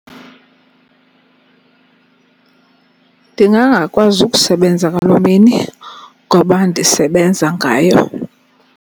Ndingangakwazi ukusebenza ngaloo mini ngoba ndisebenza ngayo.